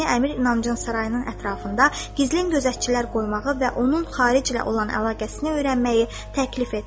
Nizami Əmir İnancın sarayının ətrafında gizli gözətçilər qoymağı və onun xaric ilə olan əlaqəsini öyrənməyi təklif etdi.